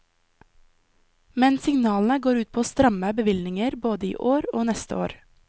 Men signalene går ut på stramme bevilgninger både i år og neste år.